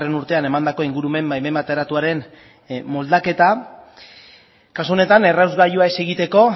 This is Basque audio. urtean emandako ingurumen baimen bateratuaren moldaketa kasu honetan errasgailua ez egiteko